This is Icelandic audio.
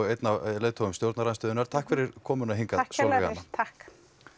einn af leiðtogum stjórnarandstöðunnar takk kærlega fyrir komuna takk